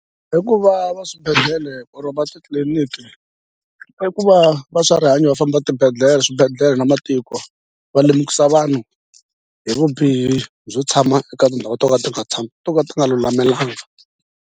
Hikuva va swibedhlele or va titliliniki i ku va va swa rihanyo va famba swibedhlele na matiko va lemukisa vanhu hi vubihi byo tshama eka tindhawu to ka ti nga tshami to ka ti nga lulamelangi.